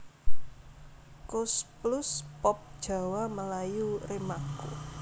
Koes Plus Pop Jawa Melayu Remaco